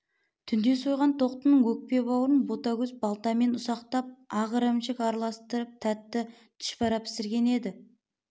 түнде сойған тоқтының өкпе-бауырын ботагөз балтамен ұсатып ақ ірімшік араластырып тәтті түшпәрә пісірген еді